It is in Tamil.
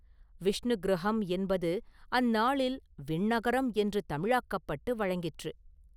விஷ்ணுக்கிருஹம் என்பது அந்நாளில் விண்ணகரம் என்று தமிழாக்கப்பட்டு வழங்கிற்று.